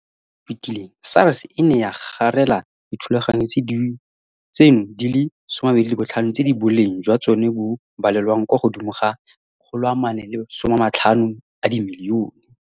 Mo ngwageng yo o fetileng SARS e ne ya garela dithulaganyo tseno di le 25 tse boleng jwa tsona bo balelwang kwa godimo ga R450 milione